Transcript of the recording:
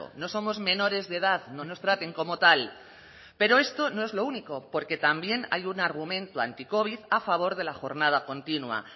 no somos menores de edad no nos traten como tal pero esto no es lo único porque también hay un argumento anticovid a favor de la jornada continua